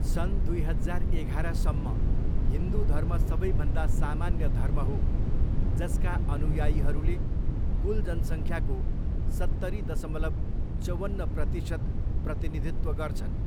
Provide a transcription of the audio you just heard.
सन् दुई हजार एघारसम्म, हिन्दु धर्म सबैभन्दा सामान्य धर्म हो, जसका अनुयायीहरूले कुल जनसङ्ख्याको सत्तरी दशमलव चौवन्न प्रतिसत प्रतिनिधित्व गर्छन्।